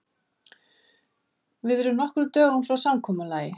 Við erum nokkrum dögum frá samkomulagi.